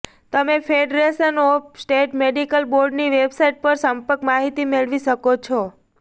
તમે federation of state medical બોર્ડની website પર સંપર્ક માહિતી મેળવી શકો છો